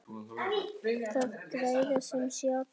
Það græða sem sé allir.